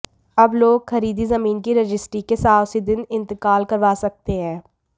अब लोग खरीदी जमीन की रजिस्ट्री के साथ उसी दिन इंतकाल करवा सकते हैं